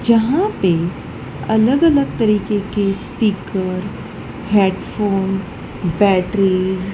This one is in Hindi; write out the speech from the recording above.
यहां पे अलग-अलग तरीके के स्पीकर हेडफोन बैटरीज़ --